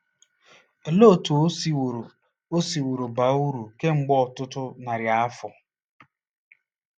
Olee otú o siworo o siworo baa uru kemgbe ọtụtụ narị afọ?